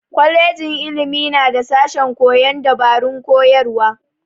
Kwajejin ilimi na da sashen koyon dabarun koyarwa.